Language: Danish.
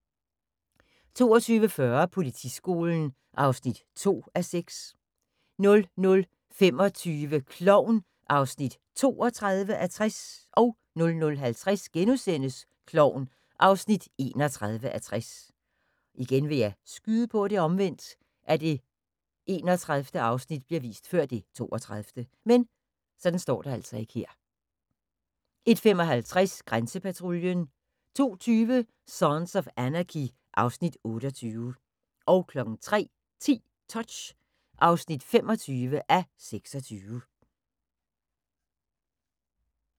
22:40: Politiskolen (2:6) 00:25: Klovn (32:60) 00:50: Klovn (31:60)* 01:55: Grænsepatruljen 02:20: Sons of Anarchy (Afs. 28) 03:10: Touch (25:26)